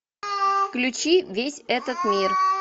включи весь этот мир